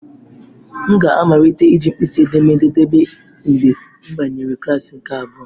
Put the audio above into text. M ga amalite iji mkpịsị edémédé debe mgbe mbanyere klasị nke abụa.